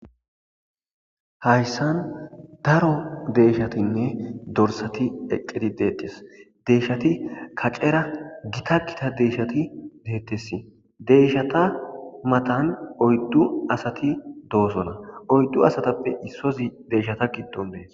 hayssan daro deyshatinne dorsati eqqedi deettes deyshati kacera gita gita deyshati deettesi deyshata matan oyddu asati doosona oyddu asatappe issozi deeshata giddon dees